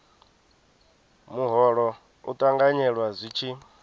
muholo u ṱanganyelwa zwi tshi